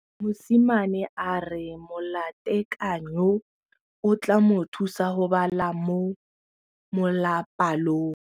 Mosimane a re molatekanyô o tla mo thusa go bala mo molapalong.